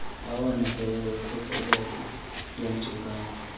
awoneleyo okhuseleko lweenkcukacha